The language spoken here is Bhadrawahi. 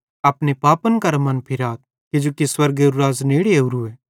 अपने पापन करां मनफिराथ किजोकि स्वर्गेरू राज़ नेड़े ओरूए